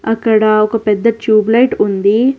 ఇక్కడ ఒక పెద్ద ట్యూబ్ లైట్ ఉంది.